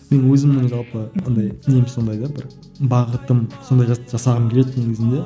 мен өзімнің жалпы андай нем сондай да бір бағытым сондай зат жасағым келеді негізінде